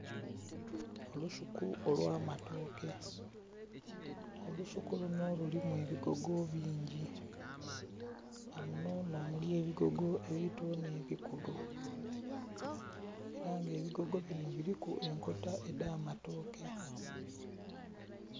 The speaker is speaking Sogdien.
Olusuku olwa matooke olusuku lunho lulimu ebigogo bingi nga munho nhomuli ebigogo ebito nhe bikulu era nga ebigogo binho biliku enkota edha matooke.